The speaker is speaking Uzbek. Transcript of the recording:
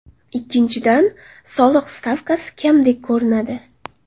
Ikkinchidan, soliq stavkasi kamdek ko‘rinadi.